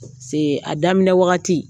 Se a daminɛ wagati